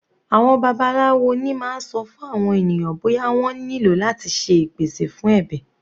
Àwọn babaláwo ni máa ń sọ fún àwọn ènìyàn bóyá wọ́n nílò láti ṣe ìpèsè fún ẹbẹ̀.